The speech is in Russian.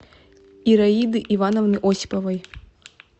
ираиды ивановны осиповой